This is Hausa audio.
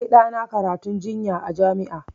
Na kai ɗana karantun injiniya a jami'a